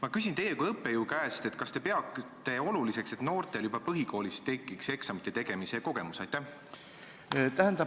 Ma küsin teie kui õppejõu käest, kas te peate oluliseks, et noortel tekiks juba põhikoolis eksamite tegemise kogemus?